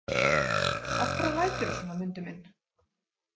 Af hverju læturðu svona, Mundi minn?